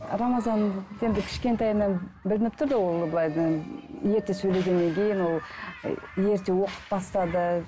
рамазан енді кішкентайынан білініп тұрды ол ерте сөйлегеннен кейін ол і ерте оқып бастады